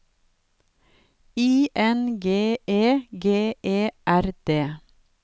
I N G E G E R D